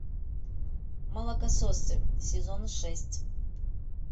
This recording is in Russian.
молокососы сезон шесть